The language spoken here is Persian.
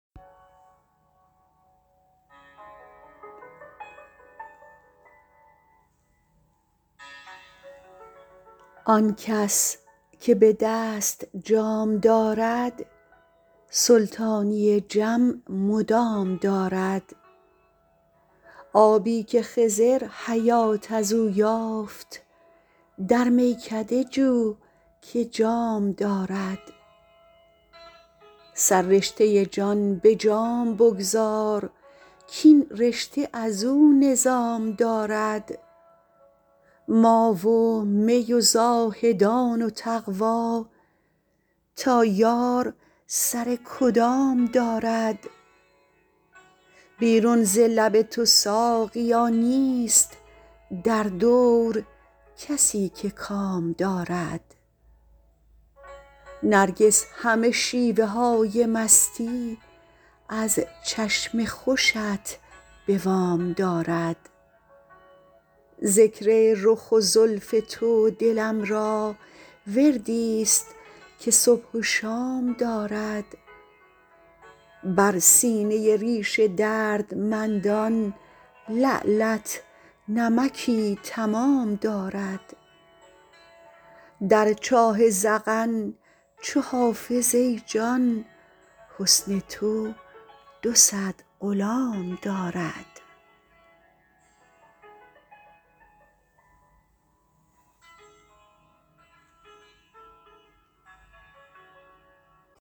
آن کس که به دست جام دارد سلطانی جم مدام دارد آبی که خضر حیات از او یافت در میکده جو که جام دارد سررشته جان به جام بگذار کاین رشته از او نظام دارد ما و می و زاهدان و تقوا تا یار سر کدام دارد بیرون ز لب تو ساقیا نیست در دور کسی که کام دارد نرگس همه شیوه های مستی از چشم خوشت به وام دارد ذکر رخ و زلف تو دلم را وردی ست که صبح و شام دارد بر سینه ریش دردمندان لعلت نمکی تمام دارد در چاه ذقن چو حافظ ای جان حسن تو دو صد غلام دارد